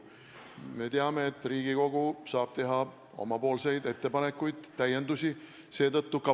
Me teame, et Riigikogu saab teha oma ettepanekuid ja täiendusi.